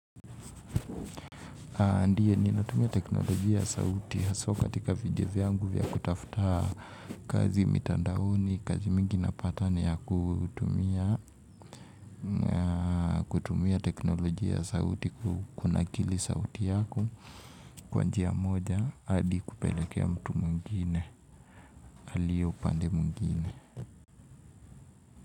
Ndio, ninatumia teknolojia ya sauti, haswa katika video vyangu vya kutafuta kazi mitandaoni. Kazi mingi napata ni ya kutumia teknolojia ya sauti, kunakili sauti yako, kwa njia moja, hadi kupelekea mtu mwingine, aliye upande mwingine.